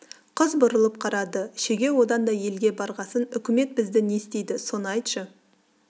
қыз бұрылып қарады шеге одан да елге барғасын үкімет бізді не істейді соны айтшы